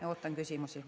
Ja ootan küsimusi.